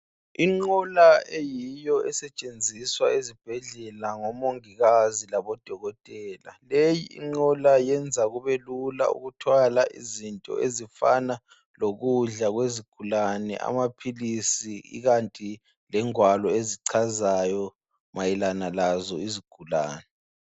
Inqola eyiyo esetshenziswa ezibhedlela ngomongikazi labodokotela. Leyinqola, yenza kube lula, ukuthwala izinto ezifana lokudla kwezigulane, amaphilisi ikanti lengwalo ezichazayo, mayelana lazo izigulane.